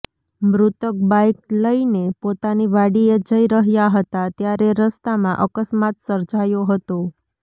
મૃતક બાઈક લઈને પોતાની વાડીએ જઈ રહ્યા હતા ત્યારે રસ્તામા અકસ્માત સર્જાયો હતો